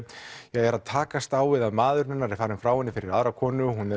er að takast á við það að maðurinn hennar er farinn frá henni fyrir aðra konu hún